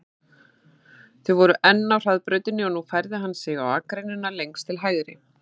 Þau voru enn á hraðbrautinni og nú færði hann sig á akreinina lengst til hægri.